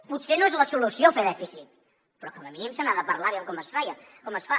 potser no és la solució fer dèficit però com a mínim se n’ha de parlar aviam com es fa